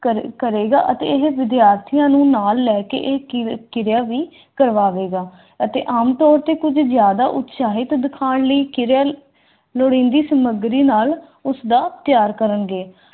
ਕਰ ਕਰੇਗਾ ਅਤੇ ਇਹ ਵਿਦਿਆਰਥੀਆਂ ਨੂੰ ਨਾਲ ਲੈ ਕੇ ਇਹ ਕਿ ਕਿਰਿਆ ਵੀ ਕਰਵਾਵੇਗਾ ਅਤੇ ਆਮਤੌਰ ਤੇ ਕੁਝ ਜ਼ਿਆਦਾ ਉਤਸ਼ਾਹਿਤ ਦਿਖਾਣ ਲਈ ਕਿਰਿਅਲ ਲੋੜੀਂਦੀ ਸਮੱਗਰੀ ਨਾਲ ਉਸਦਾ ਤਿਆਰ ਕਰਨਗੇ।